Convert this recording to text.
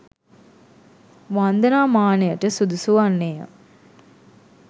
වන්දනා මානයට සුදුසු වන්නේය.